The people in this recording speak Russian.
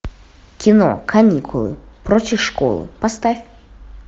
кино каникулы против школы поставь